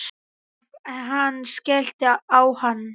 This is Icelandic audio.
Ef hann skellti á hann.